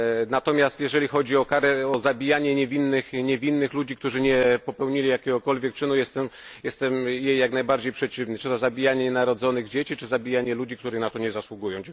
Natomiast, jeżeli chodzi o zabijanie niewinnych ludzi, którzy nie popełnili jakiegokolwiek czynu, jestem jak najbardziej przeciwny czy to zabijanie nienarodzonych dzieci, czy zabijanie ludzi, którzy na to nie zasługują.